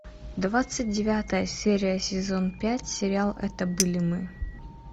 двадцать девятая серия сезон пять сериал это были мы